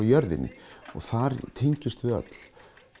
jörðinni og þar tengjumst við öll